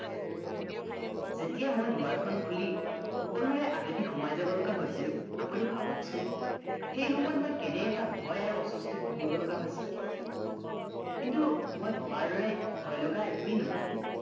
যেতিয়া মই দোৱাৰখন খুলি সকলোৰে আগেদি সোমাই যাব লগা হৈছিল আপোনি ভাবকচোন সেই সময়ত কেনে এটা ভয় আৰু অশস্তিত ভুগিব লগা হৈছিল কিন্তু মই ভবাৰ দৰে ভয়লগা একোৱে নঘটিল